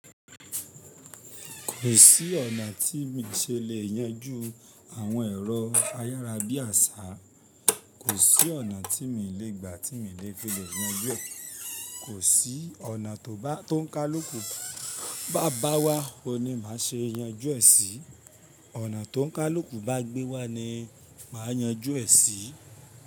Kò sí ọ̀nà tí mí ṣe lè yanjú àwọn ẹ̀rọ ayárabíàṣá, kò sí ọ̀nà tí mi lè gbà tí mi lè fi lè yanjú ẹ̀, kò sí ọ̀nà tó bá tó ń ká lóko bá bá wá oun ni màá ṣe yanjú ẹ sí, ọ̀nà tó ń ká lóko bá gbé wá ni màá yanjú ẹ sí.